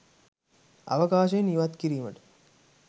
අවකාශයෙන් ඉවත් කිරීමට